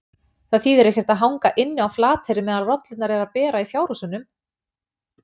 Það þýðir ekkert að hanga inni á Flateyri meðan rollurnar eru að bera í fjárhúsunum!